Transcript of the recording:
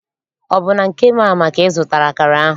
Ọ bụ na nke Mama ka ị zụtara akara ahụ?